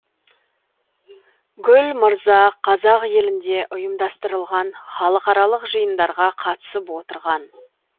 гүл мырза қазақ елінде ұйымдастырылған халықаралық жиындарға қатысып отырған